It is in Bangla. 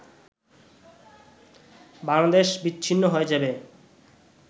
বাংলাদেশ বিচ্ছিন্ন হয়ে যাবে